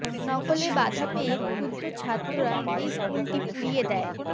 নকলে বাধা পেয়ে ক্রুদ্ধ ছাত্ররা এই স্কুলটি পুড়িয়ে দেয়